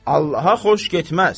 Allaha xoş getməz.